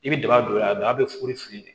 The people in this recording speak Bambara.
I bɛ daba don o la a don a bɛ fuguri fili de